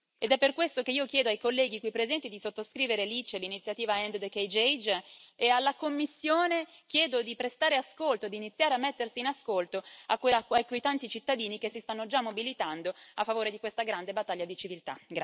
Ed è per questo che io chiedo ai colleghi qui presenti di sottoscrivere l'ICE, l'iniziativa End the Cage Age, e alla Commissione chiedo di prestare ascolto, di iniziare a mettersi in ascolto di quei tanti cittadini che si stanno già mobilitando a favore di questa grande battaglia di civiltà.